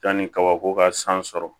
Yanni kabako ka san sɔrɔ